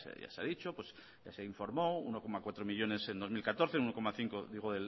ya se ha dicho se informó uno coma cuatro millónes en dos mil catorce uno coma cinco digo